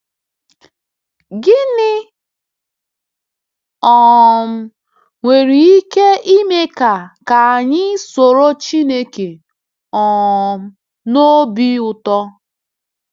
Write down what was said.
Gịnị um nwere ike ime ka ka anyị soro Chineke um n’obi ụtọ?